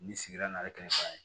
Ni sigira n'a ye kɛmɛ fila ye